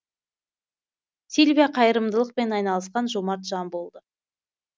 сильвия қайырымдылықпен айналысқан жомарт жан болды